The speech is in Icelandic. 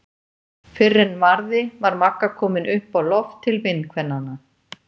Fyrr en varði var Magga komin upp á loft til vinkvennanna.